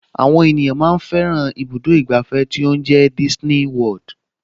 Àwọn ènìyàn fẹ́ràn ibùdó ìgbàfẹ́ tó ń jẹ́ Disney World